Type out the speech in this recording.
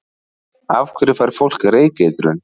Af hverju fær fólk reykeitrun?